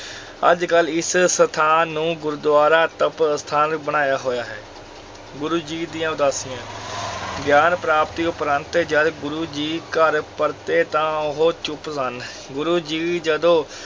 ਅੱਜ ਕੱਲ ਇਸ ਸਥਾਨ ਨੂੰ ਗੁਰਦੁਆਰਾ ਤਪ ਅਸਥਾਨ ਬਣਾਇਆ ਹੋਇਆ ਹੈ, ਗੁਰੂ ਜੀ ਦੀਆਂ ਉਦਾਸੀਆਂ ਗਿਆਨ ਪ੍ਰਾਪਤੀ ਉਪਰੰਤ ਜਦ ਗੁਰੂ ਜੀ ਘਰ ਪਰਤੇ ਤਾਂ ਉਹ ਚੁੱਪ ਸਨ, ਗੁਰੂ ਜੀ ਜਦੋਂ